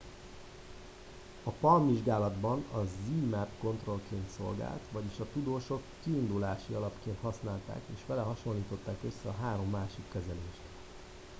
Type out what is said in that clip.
a palm vizsgálatban a zmapp kontrollként szolgált vagyis a tudósok kiindulási alapként használták és vele hasonlították össze a három másik kezelést